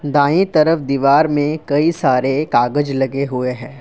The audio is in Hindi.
दाएं तरफ दीवार में कई सारे कागज लगे हुए हैं।